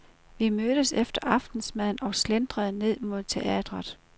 Vi mødtes efter aftensmaden og slentrede ned mod teatret.